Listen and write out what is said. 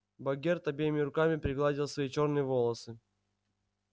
богерт обеими руками пригладил свои чёрные волосы